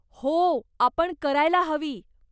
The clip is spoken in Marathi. हो, आपण करायला हवी.